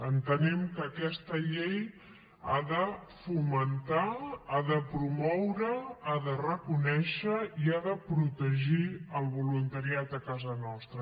entenem que aquesta llei ha de fomentar ha de promoure ha de reconèixer i ha de protegir el voluntariat a casa nostra